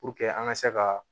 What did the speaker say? Puruke an ka se ka